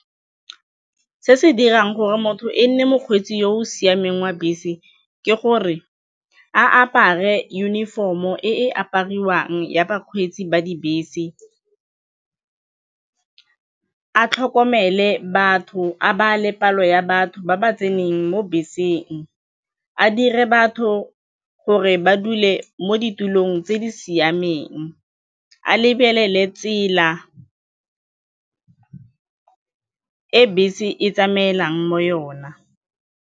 Se se dirang gore motho e nne mokgweetsi yo o siameng wa bese ke gore a apare uniform-o e e apariwang ya bakgweetsi ba dibese, a tlhokomele batho, a bale palo ya batho ba ba tseneng mo beseng, a dire batho gore ba dule mo ditulong tse di siameng, a lebelele tsela e bese e tsamaelang mo yona.